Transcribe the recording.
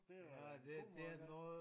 Det var da en god måde at gøre det på